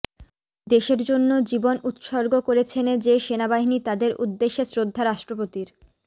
দেশের জন্য জীবন উৎসর্গ করছেনে যে সেনাবাহিনী তাদের উদ্দেশ্যে শ্রদ্ধা রাষ্ট্রপতির